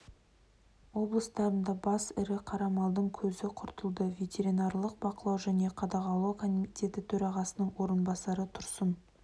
облыстарында бас ірі қара малдың көзі құртылды ветеринарлық бақылау және қадағалау комитеті төрағасының орынбасары тұрсын